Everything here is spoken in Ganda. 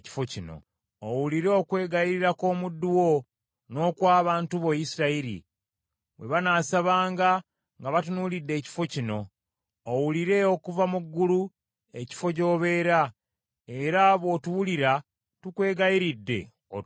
Owulire okwegayirira kw’omuddu wo, n’okw’abantu bo Isirayiri, bwe banasabanga nga batunuulidde ekifo kino. Owulire okuva mu ggulu, ekifo gy’obeera, era bw’otuwulira, tukwegayiridde otusonyiwe.